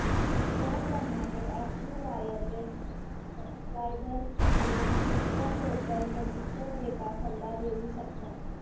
याप्रमाणे active wireless subscribers कडून visitor local register data सल्ला देऊ शकता